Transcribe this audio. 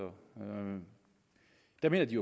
der mener de